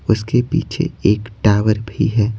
उसके पीछे एक टावर भी है।